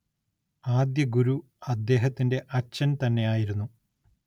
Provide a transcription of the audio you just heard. ആദ്യ ഗുരു അദ്ദേഹത്തിന്റെ അച്ഛൻ തന്നെയായിരുന്നു